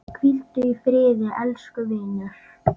Hvíldu í friði, elsku vinur.